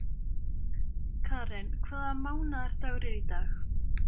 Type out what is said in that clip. Karen, hvaða mánaðardagur er í dag?